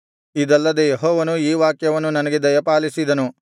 ಇದಲ್ಲದೆ ಯೆಹೋವನು ಈ ವಾಕ್ಯವನ್ನು ನನಗೆ ದಯಪಾಲಿಸಿದನು